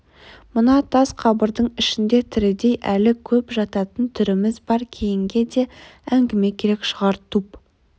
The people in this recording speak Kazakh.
мына тас қабірдің ішінде тірідей әлі көп жататын түріміз бар кейінге де әңгіме керек шығар туп